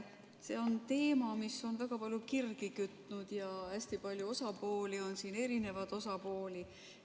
See on teema, mis on väga palju kirgi kütnud, ja hästi palju osapooli on siin, erinevaid osapooli.